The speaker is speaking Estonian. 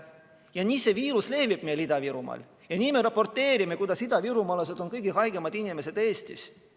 Ja nii see viirus levib meil Ida-Virumaal ja nii me raporteerime, kuidas idavirumaalased on kõige haigemad inimesed Eestis.